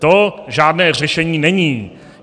To žádné řešení není.